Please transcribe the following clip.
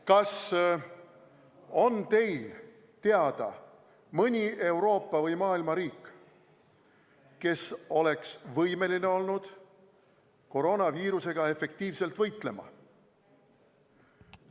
Kas on teil teada mõni Euroopa või maailma riik, kes oleks võimeline olnud koroonaviirusega efektiivselt võitlema?